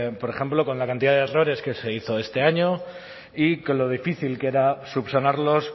por ejemplo con la cantidad de errores que se hizo este año y con lo difícil que era subsanarlos